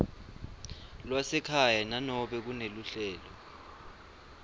lwasekhaya nanobe kuneluhlelo